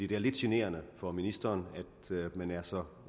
det er lidt generende for ministeren at man er så